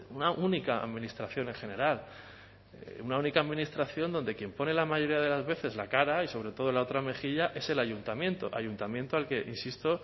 una única administración en general una única administración donde quien pone la mayoría de las veces la cara y sobre todo la otra mejilla es el ayuntamiento ayuntamiento al que insisto